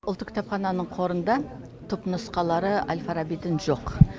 ұлттық кітапхананың қорында түпнұсқалары әл фарабидің жоқ